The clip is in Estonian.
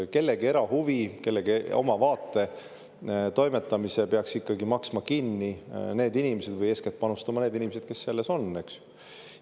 Kellegi ilmavaate peaks maksma kinni need inimesed või eeskätt sinna panustama need inimesed, kes selles on, eks.